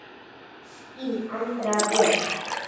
Þín, Andrea Björg.